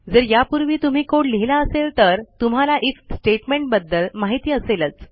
जर यापूर्वी तुम्ही कोड लिहिला असेल तर तुम्हाला आयएफ स्टेटमेंटबद्दल माहिती असेलच